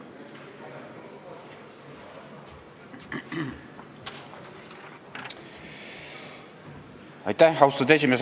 Austatud esimees!